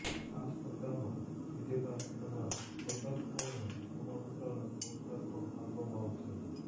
આ સ્પર્ધા માં વિજેતા થનાર સ્પર્ધકો ને પ્રમાણપત્ર અને પુરસ્કાર પણ આપવામાં આવશે